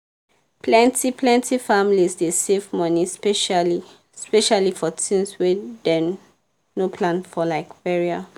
plenty-plenty families dey save money specially-specially for tins wey dem no plan for like burial.